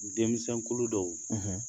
Denmisɛnkulu dɔw,